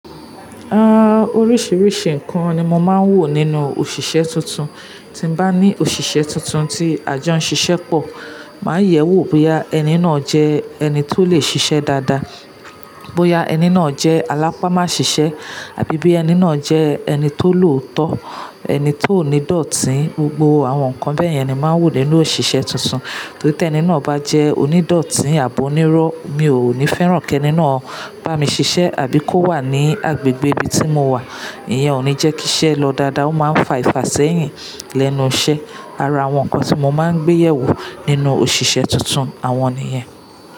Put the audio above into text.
Hmm, oríṣìíríṣìí ǹkan ni mo máa ń wò nínú òṣìṣẹ́ tuntun. Tí bá ní òṣìṣẹ́ tuntun tí àjọ ń ṣiṣẹ́ pọ̀, màá yẹ̀wò bóyá ẹni náà jẹ́ ẹni tó lè ṣiṣẹ́ dáadáa, bóyá ẹni náà jẹ́ alápámá ṣiṣẹ́ àbí bí ẹni náà jẹ́ ẹni tó lòótọ́, ẹni tó níídọ̀tí. Gbogbo àwọn nǹkan bẹ́ẹ̀ yẹn ni màá ń wò nínú òṣìṣẹ́ tuntun. Torí tí ẹni náà bá jẹ́ onídọ̀tí àbí onírọ́, mi ò ní fẹ́ràn kí ẹni náà bá mi ṣiṣẹ́ àbí kó wà ní agbègbè ibi tí mo wà. Ìyẹn ò ní jẹ́ kí iṣẹ́ lọ dáadáa, ó máa ń fà Ifà sẹ́yìn lẹ́nu iṣẹ́. Ara àwọn nǹkan tí mo máa ń gbéyẹ̀wò nínú òṣìṣẹ́ tuntun, àwọn nìyẹn.